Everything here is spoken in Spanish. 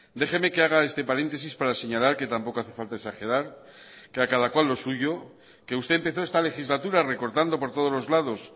déjeme que haga este paréntesis para señalar que tampoco hace falta exagerar que a cada cual lo suyo que usted empezó esta legislatura recortando por todos los lados